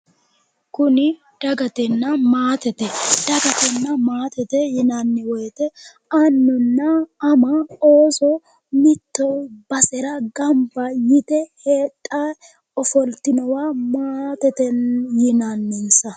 Kuni dagatenna maatete dagatenna maatete yinanni woyite annunna ama ooso mitte basera ganibba yite hedhawo ofolitinowa maatete yinannisa